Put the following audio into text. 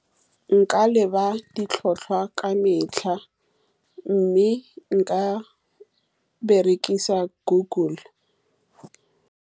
Nka leba ditlhotlhwa ka metlha, mme nka berekisa Google.